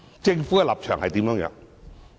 政府的立場又是甚麼？